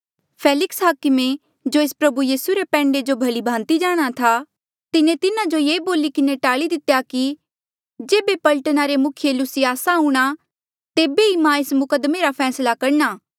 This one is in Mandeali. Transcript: फेलिक्से हाकमे जो एस प्रभु यीसू रे पैंडे जो भली भांति जाणहां था तिन्हें तिन्हा जो ये बोली किन्हें टाल्ली दितेया कि जेबे पलटना रे मुखिया लुसियासा आऊंणा ता तेबे ई मां एस मुकद्दमे रा फैसला करणा